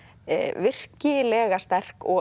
virkilega sterk og